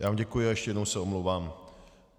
Já vám děkuji a ještě jednou se omlouvám.